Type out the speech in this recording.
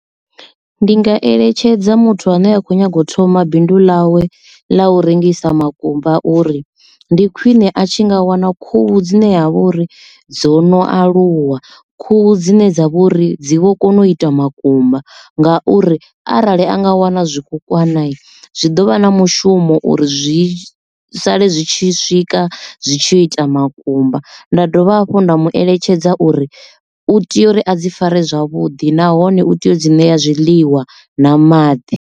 Ndi nga eletshedza muthu ane a kho nyaga u thoma bindu ḽawe ḽa u rengisa makumba uri ndi khwiṋe a tshi nga wana khuhu dzine dzavha uri dzo no aluwa khuhu dzine dza vha uri dzi vho kona u ita makumba nga uri arali anga wana zwikukwana zwi ḓovha na mushumo uri zwi sale zwi tshi swika zwi tshi ita makumba. Nda dovha hafhu nda mu eletshedza uri u tea uri a dzi fare zwavhuḓi nahone u tea u dzi ṋeya zwiḽiwa na maḓi.